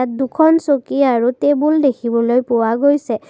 ইয়াত দুখন চকী আৰু টেবুল দেখিবলৈ পোৱা গৈছে।